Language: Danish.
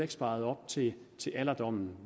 sparet op til til alderdommen